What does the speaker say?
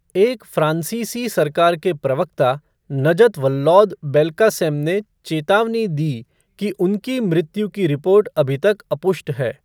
एक फ़्रांसीसी सरकार के प्रवक्ता, नजत वल्लौद बेल्कासेम ने चेतावनी दी कि उनकी मृत्यु की रिपोर्ट अभी तक अपुष्ट है।